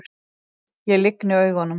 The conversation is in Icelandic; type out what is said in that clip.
Ég lygni augunum.